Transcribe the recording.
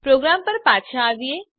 programme પર પાછા આવીએ